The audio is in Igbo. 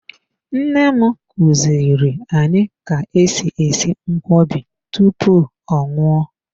Nne m kuziri anyị ka-esi esi nkwobi tupu ọ nwụọ.